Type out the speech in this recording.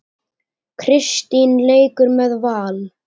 Kristín leikur með Val.